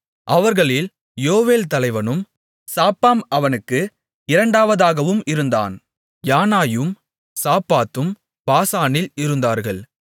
அவர்களில் யோவேல் தலைவனும் சாப்பாம் அவனுக்கு இரண்டாவதாகவும் இருந்தான் யானாயும் சாப்பாத்தும் பாசானில் இருந்தார்கள்